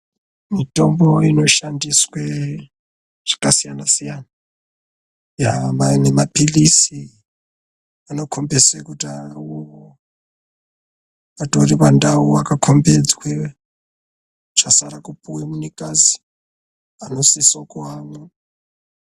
Mitombo inoshandiswa zvakasiyana siyana nemapirizi anokombidza kuti awo atori pandau yakakombidzwa chasara kupuwa munhukadzi anosisa kumamwa.